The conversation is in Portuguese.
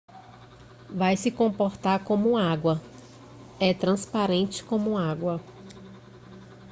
vai se comportar como água é transparente como água